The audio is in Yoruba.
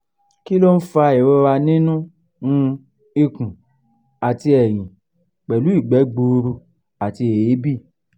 kí ló ń fa ìrora nínú um ikùn àti ẹ̀yìn pẹ̀lú ìgbẹ́ gbuuru àti eebi?